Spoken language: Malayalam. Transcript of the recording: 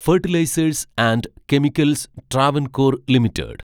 fertilisers and chemicals Travancore limited